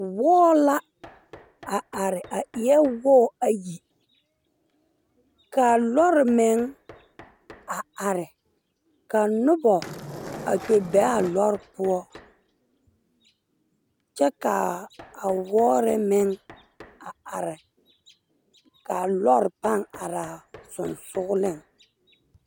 Wɔɔ la are a eɛɛ wɔɔ ayi kaa lɔre meŋ are ka nobɔ a kpɛ beaa lɔre poɔ kyɛ kaa a wɔɔre meŋ a are kaa lɔre paŋ araa seŋsugliŋ.